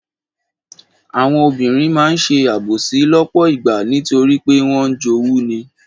Àwọn obìnrin máa ń ṣe àbòsí lọ́pọ̀ ìgbà nítorí pé wọ́n ń jowú ni.